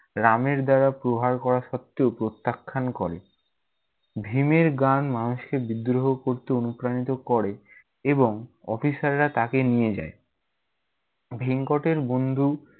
রামের দেওয়া প্রহার করা সত্ত্বেও প্রত্যাখান করে। ভীমের গান মানুষকে বিদ্রোহ করতে অনুপ্রাণিত করে এবং officer রা তাকে নিয়ে যায়। ভেঙ্কটের বন্ধু